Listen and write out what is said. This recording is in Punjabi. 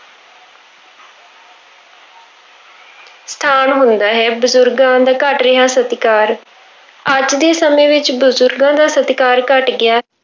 ਸਥਾਨ ਹੁੰਦਾ ਹੈ, ਬਜ਼ੁਰਗਾਂ ਦਾ ਘੱਟ ਰਿਹਾ ਸਤਿਕਾਰ, ਅੱਜ ਦੇ ਸਮੇਂ ਵਿੱਚ ਬਜ਼ੁਰਗਾਂ ਦਾ ਸਤਿਕਾਰ ਘੱਟ ਗਿਆ